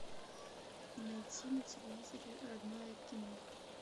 найти на телевизоре родное кино